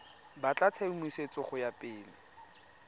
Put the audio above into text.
batla tshedimosetso go ya pele